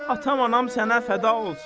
Atam anam sənə fəda olsun.